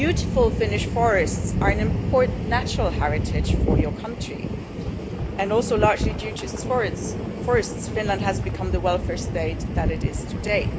The beautiful Finnish forests are an important natural heritage for your country and also largely due to its forests Finland has become the welfare state that it is today.